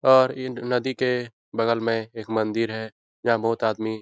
और इन नदी के बगल में एक मंदिर है वहाँ बहुत आदमी --